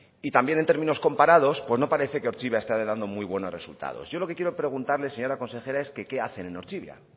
y también en términos comparados pues no parece que ortzibia esté dando muy buenos resultados yo lo que quiero preguntarle señora consejera es que qué hacen en ortzibia